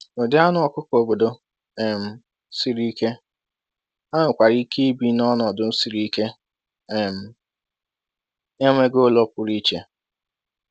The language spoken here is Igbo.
Ụdị anụ ọkụkọ obodo um siri ike, ha nwekwara ike ibi n’ọnọdụ siri ike um na-enweghị ụlọ pụrụ iche.